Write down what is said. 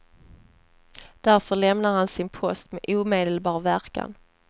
Därför lämnar han sin post med omedelbar verkan.